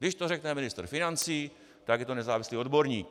Když to řekne ministr financí, tak je to nezávislý odborník.